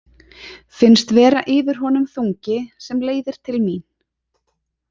Finnst vera yfir honum þungi sem leiðir til mín.